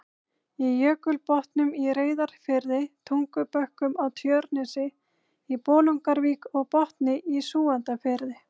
í Jökulbotnum í Reyðarfirði, Tungubökkum á Tjörnesi, í Bolungarvík og Botni í Súgandafirði.